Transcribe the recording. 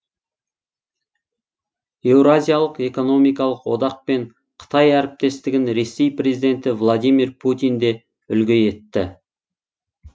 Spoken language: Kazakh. еуразиялық экономикалық одақ пен қытай әріптестігін ресей президенті владимир путин де үлгі етті